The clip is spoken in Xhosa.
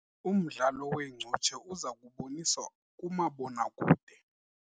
Umdlalo weencutshe uza kuboniswa kumabonakude.